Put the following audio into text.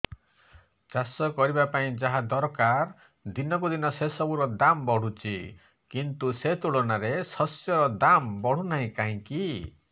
ଚାଷ କରିବା ପାଇଁ ଯାହା ଦରକାର ଦିନକୁ ଦିନ ସେସବୁ ର ଦାମ୍ ବଢୁଛି କିନ୍ତୁ ସେ ତୁଳନାରେ ଶସ୍ୟର ଦାମ୍ ବଢୁନାହିଁ କାହିଁକି